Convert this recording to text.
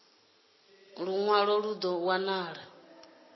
ulu lunwalo lu do wanala